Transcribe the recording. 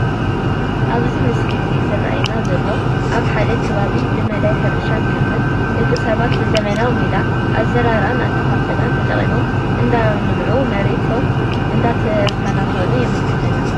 እቲ ኣብቲ ምስሊ ዝራኣየና ዘሎ ኣብ ሓደ ከባቢ ብመዳይ ሕርሻን ግብርን ደቂ ሰባት ብዘበናዊ ሜላ ኣዘራርኣ/ኣኻኽላ ተጠቒሞም እንዳልምዑን መሬቶም እንዳተኻናኸኑ የመልክተና፡፡